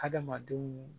Hadamadenw